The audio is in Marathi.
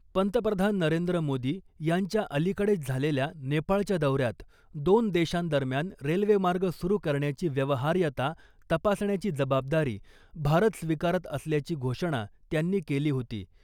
पंतप्रधान नरेंद्र मोदी यांच्या अलीकडेच झालेल्या नेपाळच्या दौऱ्यात दोन देशांदरम्यान रेल्वेमार्ग सुरू करण्याची व्यवहार्यता तपासण्याची जबाबदारी भारत स्वीकारत असल्याची घोषणा त्यांनी केली होती .